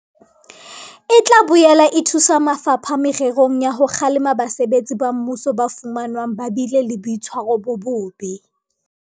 E tla boela e thusa mafapha mererong ya ho kgalema basebetsi ba mmuso ba fumanwang ba bile le boitshwaro bo bobe.